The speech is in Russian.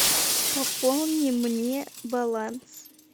пополни мне баланс